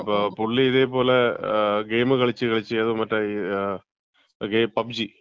പുള്ളി ഇതേ പോലെ ഗെയിം കളിച്ച് കളിച്ച് കളിച്ച് മറ്റേ ഏതോ, ഓകെ പബ്ജി,